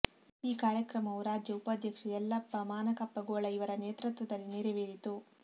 ಈ ಕಾರ್ಯಕ್ರಮವು ರಾಜ್ಯ ಉಪಾಧ್ಯಕ್ಷ ಯಲ್ಲಪ್ಪಾ ಮಾನಕಪ್ಪಗೋಳ ಇವರ ನೇತೃತ್ವದಲ್ಲಿ ನೆರವೇರಿತು